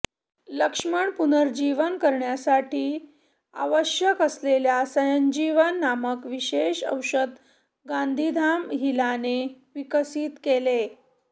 लक्ष्मण पुनरुज्जीवन करण्यासाठी आवश्यक असलेल्या संजीवनी नामक विशेष औषध गांधीधाम हिलाने विकसित केले